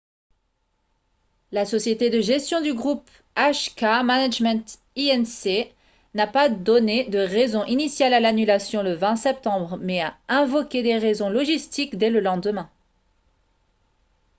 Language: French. la société de gestion du groupe hk management inc n'a pas donné de raison initiale à l'annulation le 20 septembre mais a invoqué des raisons logistiques dès le lendemain